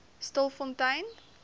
stilfontein